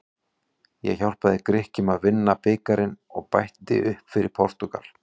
Ég hjálpaði Grikkjum að vinna bikarinn og bætti upp fyrir Portúgal.